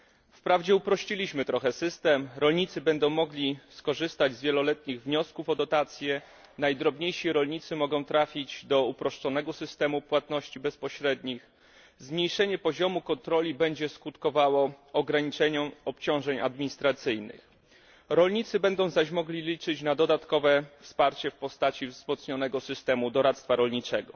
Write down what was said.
Wprawdzie uprościliśmy trochę system, rolnicy będą mogli skorzystać z wieloletnich wniosków o dotację, najdrobniejsi rolnicy mogą trafić do uproszczonego systemu płatności bezpośrednich, zmniejszenie poziomu kontroli będzie skutkowało ograniczeniem obciążeń administracyjnych, rolnicy będą zaś mogli liczyć na dodatkowe wsparcie w postaci wzmocnionego systemu doradztwa rolniczego.